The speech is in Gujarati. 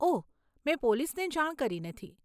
ઓહ, મેં પોલીસને જાણ કરી નથી.